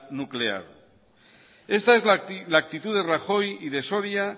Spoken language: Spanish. nuclear esta es la actitud de rajoy y de soria